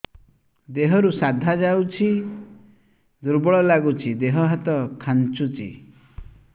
ଦେହରୁ ସାଧା ଯାଉଚି ଦୁର୍ବଳ ଲାଗୁଚି ଦେହ ହାତ ଖାନ୍ଚୁଚି